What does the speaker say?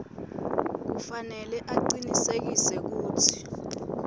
kufanele acinisekise kutsi